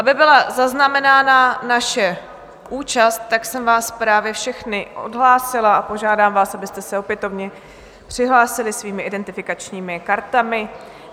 Aby byla zaznamenána naše účast, tak jsem vás právě všechny odhlásila a požádám vás, abyste se opětovně přihlásili svými identifikačními kartami.